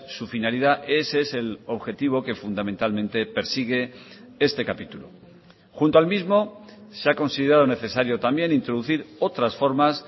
su finalidad ese es el objetivo que fundamentalmente persigue este capítulo junto al mismo se ha considerado necesario también introducir otras formas